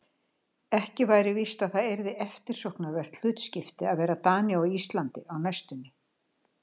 Ekki væri víst að það yrði eftirsóknarvert hlutskipti að vera Dani á Íslandi á næstunni.